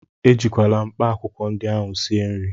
Ejikwala mkpaakwụkwọ ndị ahụ sie nri!